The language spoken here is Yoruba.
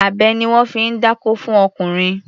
Abẹ ni wọ́n fi ń dákó fún ọkùnrin.